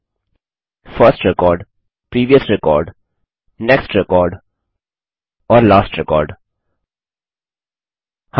first Recordपहला record previous Recordपिछला record next Recordअगला रिकार्ड और लास्ट रेकॉर्ड आखिरी रिकार्ड